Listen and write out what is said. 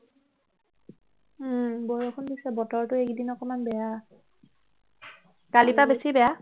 ও বৰষুণ দিছে বতৰটো এইকেইদিন অকনমান বেয়া কালিৰ পৰা অকণমান বেছি বেয়া